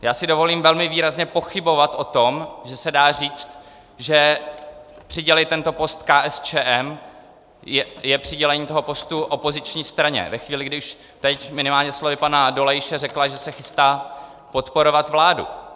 Já si dovolím velmi výrazně pochybovat o tom, že se dá říct, že přidělit tento post KSČM je přidělení toho postu opoziční straně, ve chvíli, když teď minimálně slovy pana Dolejše řekla, že se chystá podporovat vládu.